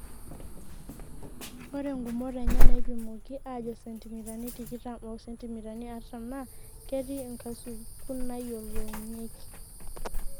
Ore ngumot enye naaipimoki aajo sentimitani tikitam o sentimitani artam naa ketii nkasukun naayiolounyeki.